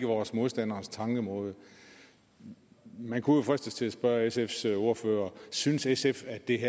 vores modstanders tankemåde man kunne jo fristes til at spørge sfs ordfører synes sf at det